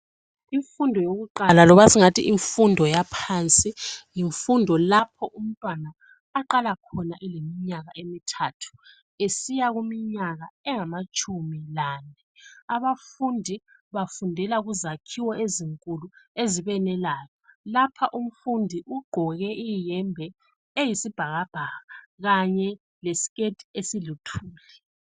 Imfundo yokuqala loba singathi imfundo yaphansi yimfundo lapho umntwana aqala khona eleminyaka emithathu esiyakuminyaka engamatshumi lanye. Abafundi bafundela kuzakhiwo ezinkulu ezibenelayo. Lapha umfundi ugqoke iyembe eyisibhakabhaka kanye lesikethi esiluthuli.